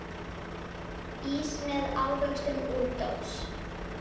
Ís með ávöxtum úr dós.